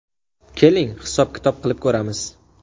Keling, hisob-kitob qilib ko‘ramiz!